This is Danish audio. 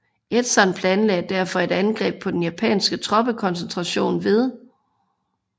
Edson planlagde derfor et angreb på den japanske troppekoncentration ved